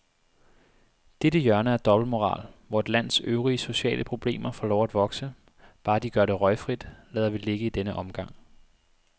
Dette hjørne af dobbeltmoral, hvor et lands øvrige sociale problemer får lov at vokse, bare de gør det røgfrit, lader vi ligge i denne omgang.